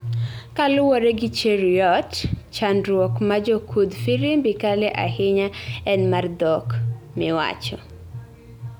Kaluwore gi Cheruiyot chandruok ma jokudh firimbi kale ahinya en mar dhok miwacho